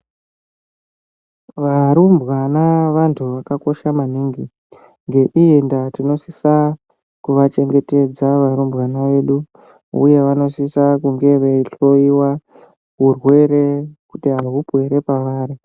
Varumbwana vantu vakakosha maningi. Ngeiyi ndaa tinosisa kuvachengetedza varumbwana vedu uye vanosisa kunge veihloyiwa urwere kuti ahupo here pavari.